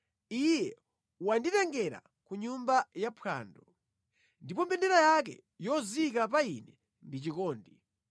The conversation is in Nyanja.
Iye wanditengera ku nyumba yaphwando, ndipo mbendera yake yozika pa ine ndi chikondi.